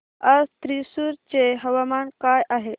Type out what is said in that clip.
आज थ्रिसुर चे हवामान काय आहे